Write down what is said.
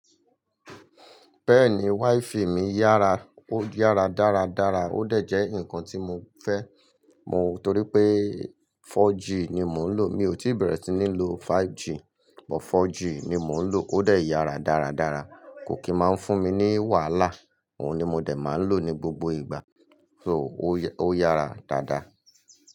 Bẹ́ẹ̀ni, wiFi mi yára, ó yára dára dára, ó dẹ̀ jẹ́ ǹkan tí mo fẹ́ mọ̀ torí pé 4G ni mò ń lò. Mi ò tí bẹ̀rẹ̀ sí ní lo 5G, but 4G ni mò ń lò, ó dẹ̀ yára dára dára, kò kí máa ń fún mi ní wàhálà, òun ni mo dẹ̀ máa lò ní gbogbo ìgbà, so ó yára dáadáa.